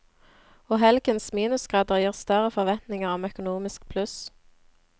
Og helgens minusgrader gir større forventninger om økonomisk pluss.